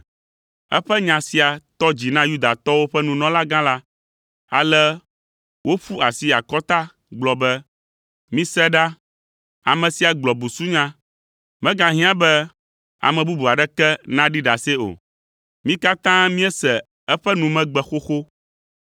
Eƒe nya sia tɔ dzi na Yudatɔwo ƒe nunɔlagã la, ale woƒu asi akɔta gblɔ be, “Mise ɖa, ame sia gblɔ busunya. Megahiã be ame bubu aɖeke naɖi ɖase o. Mí katã míese eƒe numegbe xoxo.